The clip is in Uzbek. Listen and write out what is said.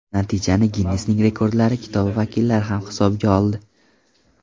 Natijani Ginnesning rekordlari kitobi vakillari ham hisobga oldi.